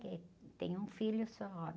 Eh, tem um filho só.